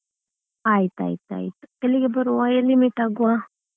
ಆಯ್ತಾಯ್ತ್ ಆಯ್ತು ಎಲ್ಲಿಗೆ ಬರುವ ಎಲ್ಲಿ meet ಆಗುವ?